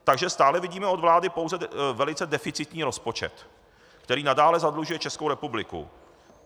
Takže stále vidíme od vlády pouze velice deficitní rozpočet, který nadále zadlužuje Českou republiku.